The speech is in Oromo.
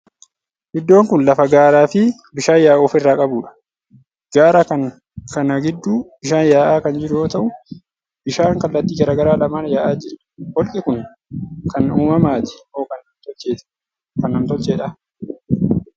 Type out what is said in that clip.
Iddoon kuni lafa gaara fii bishaan yaa'u ofirraa qabuudha. Gaara kana gidduu bishaan yaa'aa kan jiru yoo ta'u, bishaan kallattii garagaraa lamaan yaa'aa jira. Holqi kuni kan uumamaati moo kan namni tolcheedha?